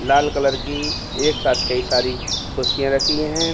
लाल colour की एक साथ कई सारी कुर्सियाँ रखी है।